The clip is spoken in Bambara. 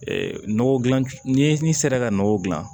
nɔgɔ gilan ni sera ka nɔgɔ gilan